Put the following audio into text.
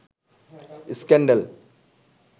scandal